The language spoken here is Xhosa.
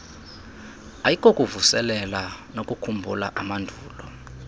ayikokuvuselela nokukhumbula amandulo